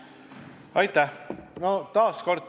Aitäh!